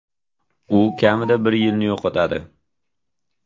U kamida bir yilni yo‘qotadi.